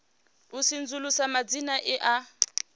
u sedzulusa madzina e a